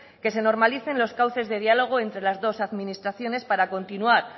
que se normalicen los cauces de diálogo entre las dos administraciones para continuar